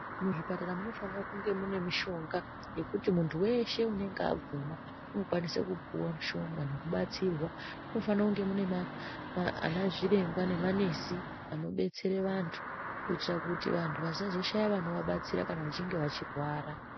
Muzvipatara munofana kunge mune mushonga wekuti muntu weshe unenge ada kumwa unokwanisa kupuwa mushonga nekubatsirwa munofana kunge munaana zviremba namanesi anobetsera vantu kuitira kuti vantu vasazoshaya vanovabatsira kana vachinge vechirwara.